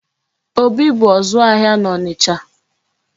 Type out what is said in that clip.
Obi bụ ọzụ ahịa n'Ọnịcha.